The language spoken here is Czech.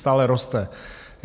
Stále roste.